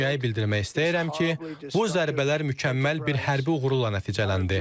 Dünyaya bildirmək istəyirəm ki, bu zərbələr mükəmməl bir hərbi uğurla nəticələndi.